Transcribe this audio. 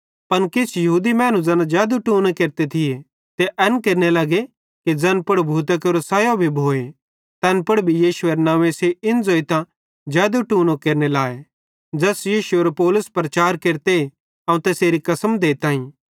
पन किछ यहूदी मड़द ज़ैना फुकफक केरते थी ते एन केरने लगे कि ज़ैन पुड़ भूतां केरो सैयो भी भोए तैन पुड़ यीशुएरे नंव्वे इन ज़ोइतां फुक फक देने लाए ज़ैस यीशुएरो प्रचार पौलुस केरते अवं तैसेरी कसम देताईं